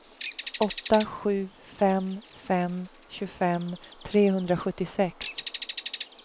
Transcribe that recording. åtta sju fem fem tjugofem trehundrasjuttiosex